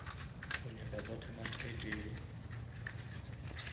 o nyaka butternut e tee